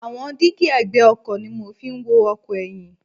Àwọn dígí ẹ̀gbẹ́ ọkọ̀ ni mo fi ń wo ọkọ̀ ẹyin.